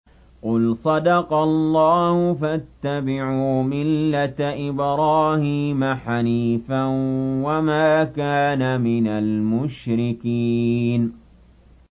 قُلْ صَدَقَ اللَّهُ ۗ فَاتَّبِعُوا مِلَّةَ إِبْرَاهِيمَ حَنِيفًا وَمَا كَانَ مِنَ الْمُشْرِكِينَ